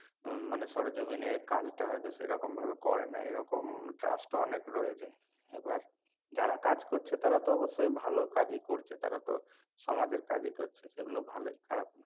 মানে সরেজমিনে কাজটা হয়তো সেরকম ভাবে করেনা এরকম trust ও অনেক রয়েছে এবার যারা কাজ করছে তারা তো অবশ্যই ভালো কাজই করছে তারা তো সমাজের কাজই করছে সেগুলো ভালোই খারাপ না